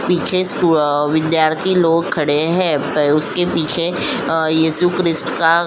पीछे सु अ विद्यार्थी लोग खड़े हैं। प उसके पीछे अ यीशु क्रिस्ट का --